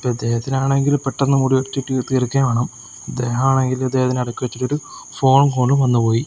ഇപ്പം ഇദ്ദേഹത്തിനാണെങ്കിൽ പെട്ടെന്ന് തീർക്കുകയും വേണം ഇദ്ദേഹം ആണെങ്കിൽ ഇദ്ദേഹത്തിന് ഇടയ്ക്ക് വെച്ചേക്കൊരു ഫോൺ കോളും വന്നുപോയി.